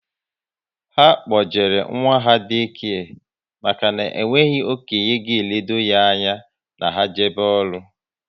Ha kpojere nwa ha Day kare maka na onweghi okénye ga elode ya anya na ha jebe ọrụ